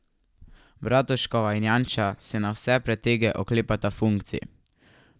Bratuškova in Janša se na vse pretege oklepata funkcij.